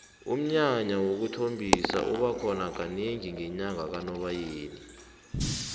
umnyanya wokuthombisa uba khona kanengi ngenyanga kanobayeni